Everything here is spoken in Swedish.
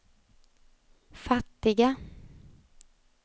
fattiga